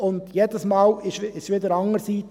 Und jedes Mal trat es wieder anders ein.